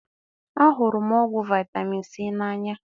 A hụrụ m ọgwụ vitamin C na anya